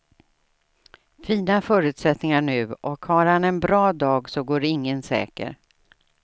Fina förutsättningar nu och har han en bra dag så går ingen säker.